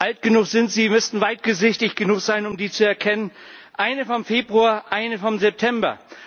Alt genug sind Sie. Sie müssten weitsichtig genug sein, um sie zu erkennen eine vom Februar, eine vom September.